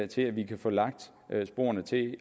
til at vi kan få lagt sporene til